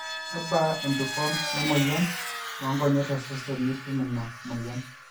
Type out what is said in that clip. kebaa embikon wemoyian oonkonyek to sesen tinitum ina moyian